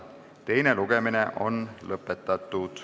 Teine lugemine on lõpetatud.